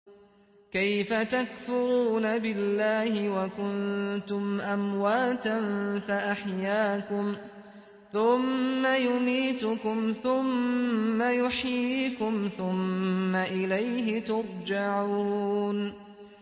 كَيْفَ تَكْفُرُونَ بِاللَّهِ وَكُنتُمْ أَمْوَاتًا فَأَحْيَاكُمْ ۖ ثُمَّ يُمِيتُكُمْ ثُمَّ يُحْيِيكُمْ ثُمَّ إِلَيْهِ تُرْجَعُونَ